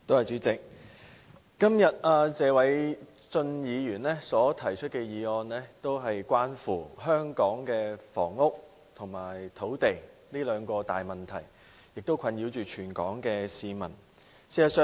主席，謝偉俊議員今天提出的議案關乎香港的房屋和土地這兩項困擾全港市民的問題。